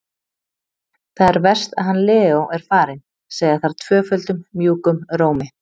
Það er verst að hann Leó er farinn, segja þær tvöföldum mjúkum rómi.